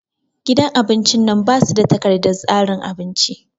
Gidan abin cin nan ba su da takardar tsarin abinci